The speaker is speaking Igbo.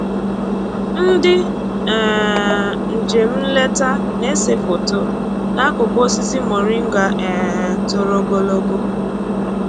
Ndị um njem nleta na-ese foto n'akụkụ osisi moringa um toro ogologo